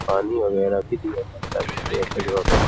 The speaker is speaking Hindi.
पानी वगैरह भी दिया जाता है। --